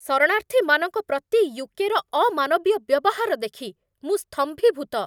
ଶରଣାର୍ଥୀମାନଙ୍କ ପ୍ରତି ୟୁ.କେ.ର ଅମାନବୀୟ ବ୍ୟବହାର ଦେଖି ମୁଁ ସ୍ତମ୍ଭୀଭୂତ।